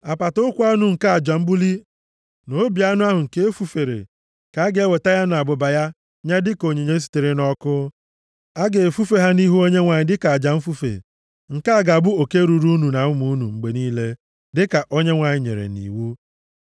Apata ụkwụ anụ nke aja mbuli na obi anụ ahụ nke e fufere, ka a ga-eweta ya na abụba ya nye dịka onyinye sitere nʼọkụ. A ga-efufe ha nʼihu Onyenwe anyị dịka aja mfufe. Nke a ga-abụ oke ruuru unu na ụmụ unu mgbe niile, dịka Onyenwe anyị nyere nʼiwu.”